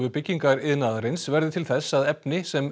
byggingariðnaðarins verði til þess að efni sem